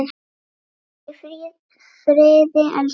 Farðu í friði, elsku amma.